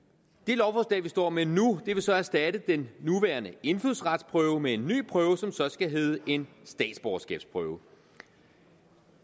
det lovforslag vi står med nu vil så erstatte den nuværende indfødsretsprøve med en ny prøve som så skal hedde en statsborgerskabsprøve